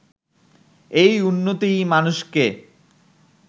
এই উন্নতিই মানুষকে